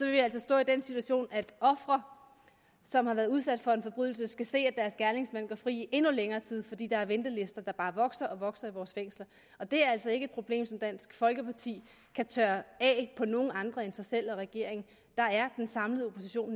vi altså stå i den situation at ofre som har været udsat for en forbrydelse skal se at deres gerningsmænd går fri i endnu længere tid fordi der er ventelister der bare vokser og vokser i vores fængsler det er altså ikke et problem som dansk folkeparti kan tørre af på nogen andre end sig selv og regeringen den samlede opposition